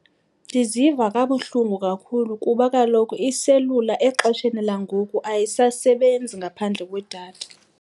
Ndiziva kabuhlungu kakhulu kuba kaloku iselula exesheni langoku ayisasebenzi ngaphandle kwedatha.